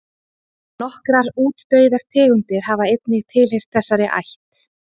Nokkrar útdauðar tegundir hafa einnig tilheyrt þessari ætt.